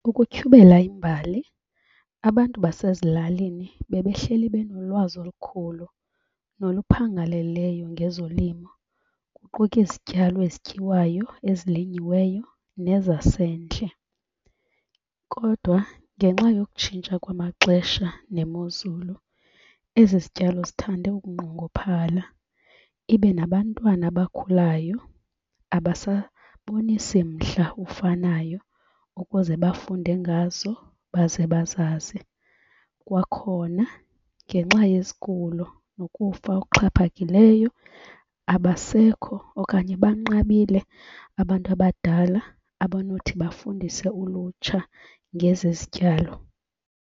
Ukutyhubela imbali abantu basezilalini bebehleli benolwazi olukhulu noluphangaleleyo ngezolimo kuquka izityalo ezityiwayo, ezilinyiweyo nezasendle. Kodwa ngenxa yokutshintsha kwamaxesha nemozulu ezi zityalo zithande ukunqongophala, ibe nabantwana abakhulayo abasabonisi mdla ufanayo ukuze bafunde ngazo baze bazazi. Kwakhona ngenxa yezigulo nokufa okuxhaphakileyo, abasekho okanye banqabile abantu abadala abanothi bafundise ulutsha ngezi zityalo.